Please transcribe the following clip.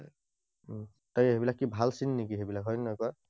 তাকে, এইবিলাক কি ভাল চিন নেকি সেইবিলাক, হয় নে নহয় কোৱা?